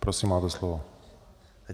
Prosím, máte slovo.